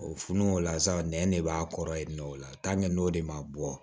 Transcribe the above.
O fununen o la sa nɛn de b'a kɔrɔ yen nɔ o la n'o de ma bɔ